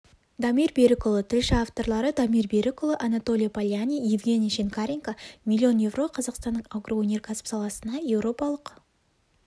дамир берікұлы тілші авторлары дамир берікұлы анатолий полянный евгений шинкаренко миллион еуро қазақстанның агроөнеркәсіп саласына еуропалық